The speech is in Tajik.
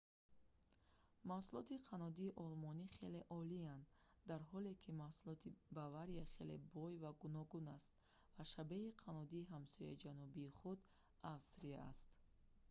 маҳсулоти қаннодии олмонӣ хеле олиянд дар ҳоле ки маҳсулоти бавария хеле бой ва гуногун аст ва шабеҳи каннодии ҳамсояи ҷанубии худ австрия аст